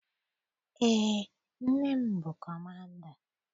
Eé, nne m bụ kọmanda